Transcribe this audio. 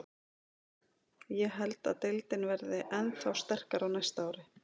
Ég held að deildin verði ennþá sterkari á næsta ári.